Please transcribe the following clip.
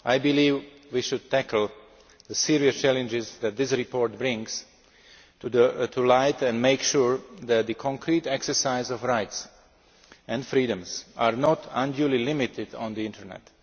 I believe we should tackle the serious challenges that this report brings to light and make sure that the concrete exercise of rights and freedoms is not unduly limited on the Internet.